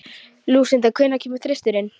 Lúsinda, hvenær kemur þristurinn?